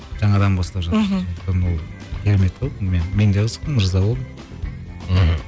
жаңадан бастап жатыр мхм өйткені ол керемет қой мен мен де қызықтым ырза болдым мхм